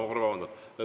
Ma korra vabandan.